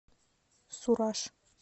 сураж